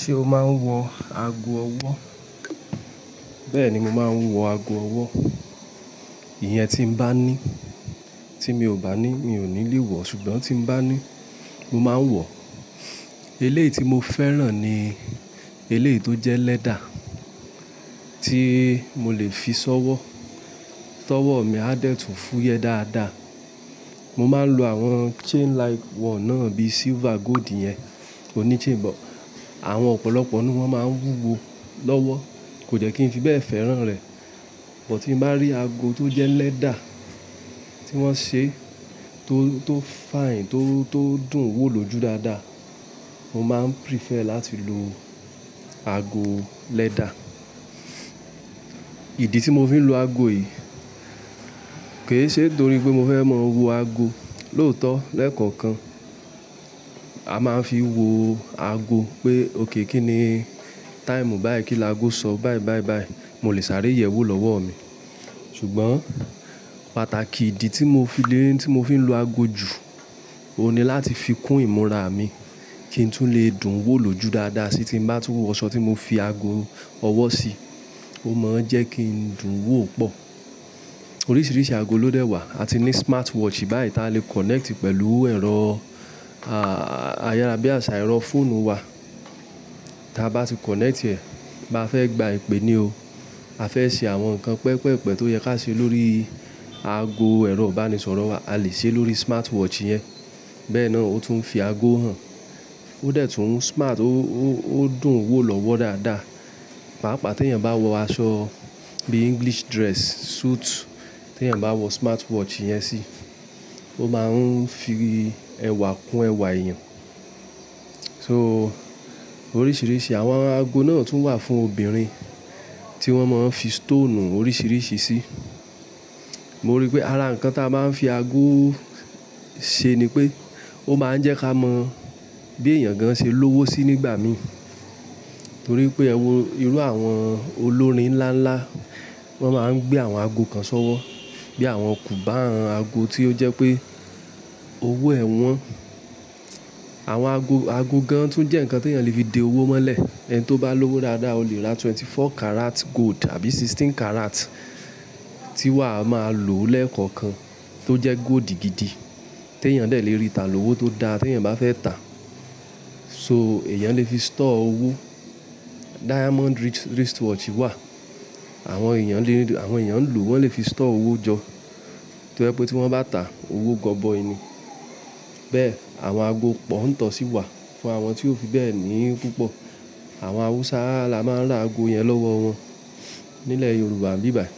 Ṣé o máa ń wọ ago ọwọ́? Bẹ́ẹ̀ni, mo máa ń wọ ago ọwọ́. Ìyẹn tí mo bá ní, tí mi ò bá ní mi ò ní lè wọ̀. Ṣùgbọ́n tí bá ní, mo máa ń wọ̀. Eléyìí tí mo fẹ́ràn ni eléyìí tó jẹ́ leather tí mo lè fi ṣọ́wọ́. Tọwọ́ mi á dẹ̀ tún fúyẹ dáadáa. Mo máa ń lo àwọn chain like wọ̀ náà bíi silver, gold yẹn oní chain bọ̀. Àwọn ọ̀pọ̀lọpọ̀ ni wọ́n máa ń wúwo lọ́wọ́. Kò jẹ́ kí n fi bẹ́ẹ̀ fẹ́ràn rẹ̀. Bọ̀ tí mo bá rí ago tó jẹ́ leather tí wọ́n ṣe tó, tó fine, tó, tó dùn wò ló jù dáadáa, mo máa ń prefer láti lo ago leather. Ìdí tí mo fi ń lo ago yìí kì í ṣe torí pé mo fẹ́ máa wo ago. Lóòótọ́ lẹ́ẹ̀kọ̀kan, a máa ń fi wo ago pé òkè kí ni táìmù báyìí kí laago sọ báyìí báyìí báyìí. Mo lè sáré yẹ̀ ẹ́ wò lọ́wọ́ mi. Ṣùgbọ́n pàtàkì ìdí tí mo fi lè, tí mo fi ń lo ago jù, òun ni láti fi kún ìmúra mi kí n tún lè dùn wò ló jù dáadáa sí tí mo bá túbọ̀ wọ aṣọ tí mo fi ago ọwọ́ sí, ó máa ń jẹ́ kí n dùn wò pọ̀. Oríṣiríṣi ago ló dẹ̀ wà. A ti ní smartwatch báyìí tá lè connect pẹ̀lú ẹ̀rọ, à, ayárá bí àṣá ẹ̀rọ fóònù wa. Táa bá ti connect rẹ̀ bá fẹ́ gba ìpè ni o, a fẹ́ ṣe àwọn nǹkan pẹpẹpẹ tó yẹ ká ṣe lórí ago ẹ̀rọ ìbánisọ̀rọ̀ wa, a lè ṣe ẹ lórí smartwatch yẹn. Bẹ́ẹ̀ náà ó tún fi ago hàn. Ó dẹ̀ tún smart ó, ó, ó dùn wò lọ́wọ́ dáadáa. Paapaa ti ènìyàn bá wọ aṣọ bíi English dress, suit tí ènìyàn bá wọ smartwatch yẹn sí, ó máa ń fi ẹwà kún ẹwà èèyàn. So, oríṣiríṣi àwọn ago náà tún wà fún obìnrin tí wọ́n máa ń fi stone oríṣiríṣi sí. Mo rí pé ara nǹkan tí a máa ń fi ago ṣe ni pé ó máa ń jẹ́ ká mọ bí èèyàn gan ṣe lówo sí nígbà mìíràn. Torí pé ẹ wo irú àwọn olórin ńláńlá, wọ́n máa ń gbé àwọn ago kan sọ́wọ́ bí àwọn kù bá hàn ago tí ó jẹ́ pé owó ẹ wọn. Àwọn ago, ago gan-an tún jẹ́ nǹkan tí èèyàn lè fi de owó mọ́lẹ̀. Ẹni tó bá lówó dáadáa, o lè ra twenty four carat gold àbí sixteen carat tí wàá máa lòó lẹ́ẹ̀kọ̀kan tó jẹ́ gold gidi tí èèyàn dẹ̀ lè rí ta lówó tó dá tí èèyàn bá fẹ́ tà. So, èèyàn lè fi store owó. Diamond wrist, wristwatch wà. Àwọn èèyàn lè rí, àwọn èèyàn ń lò, wọ́n lè fi store owó jọ. Torí pé tí wọ́n bá tà, owó gọbọi ni. Bẹ́ẹ̀ àwọn ago pọ̀ ń tọ̀ sí i wà fún àwọn tí ó fi bẹ́ẹ̀ ní púpọ̀. Àwọn Haúsá la máa ń ra ago yẹn lọ́wọ́ wọn. Nílẹ̀ Yorùbá bíbàí,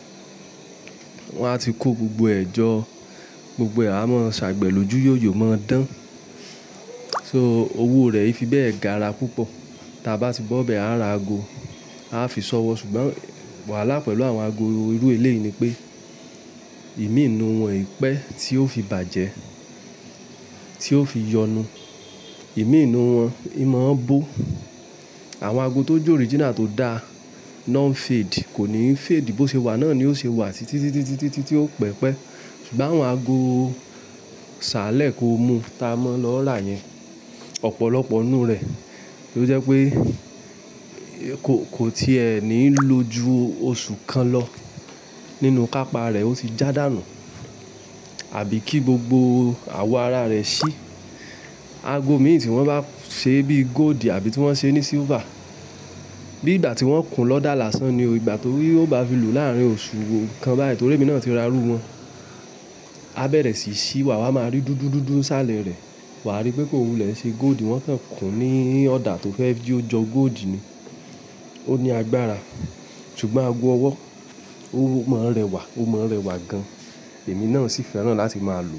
wọ́n á ti kó gbogbo eẹ̀jọ́, gbogbo ee àmọ́ ṣàgbẹlò ju yóyò mọ́ ọ́ dán. So, owó rẹ̀ ì fi bẹ́ẹ̀ gara púpọ̀. Táa bá ti bọ́bẹ̀ á ra ago, a á fi ṣọ́wọ́. Ṣùgbọ́n wàhálà pẹ̀lú àwọn ago irú eléyìí ni pé ìmíìnù wọn pẹ́ tí ó fi bàjẹ́, tí ó fi yọnu. Ìmíìnù wọn, ìmọ̀ ọ́n bó. Àwọn ago tó jẹ́ original tó dá náà n fade, kò ní fade. Bí ó ṣe wà náà ni ó ṣe wà títí, títí, títí, títí, títí ó pẹ́pẹ́. Ṣùgbọ́n àwọn ago ṣálẹ̀ kó mú tí a máa ń lọ rà yẹn, ọ̀pọ̀lọpọ̀ ninu rẹ̀. Torí jẹ́ pé kò, kò ti è ní lójú oṣù kan lọ nínú kápa rẹ̀ ó ti jádànù àbí kí gbogbo àwọ̀ ara rẹ̀ ṣí. Ago mìíràn tí wọ́n bá ṣe bíi gold àbí tí wọ́n ṣe ní silver, bí ìgbà tí wọ́n kùn lọ́dà làásán ni o, ìgbà torí ó bá fi lù láàárín oṣù kan báyìí torí èmi náà ti ra rú wọn. A bẹ̀rẹ̀ sí í ṣí, wàá máa rí dúdú dúdú ṣálẹ̀ rẹ̀. Wà á rí pé kò wulẹ̀ ṣe gold. Wọ́n sì kùn ní ọ̀dà tó fẹ́ kí ó jọ gold ni. Ó ní agbára. Ṣùgbọ́n ago ọwọ́, ó máa ń rẹwà, ó máa ń rẹwà gan-an. Èmi náà sì fẹ́ràn láti máa lò.